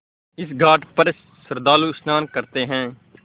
इस घाट पर श्रद्धालु स्नान करते हैं